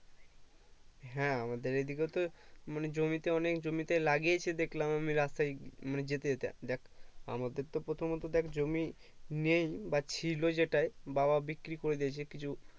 হ্যাঁ আমাদের এদিকে তো মানে জমিতে অনেক জমিতে অনেক জমিতে লাগিয়েছে দেখলাম আমি রাস্তায় মানে যেতে যেতে দেখ আমাদের তো প্রথমত দেখ জমি নেই বা ছিল যেটাই বাবা বিক্রি করে দিয়েছে কিছু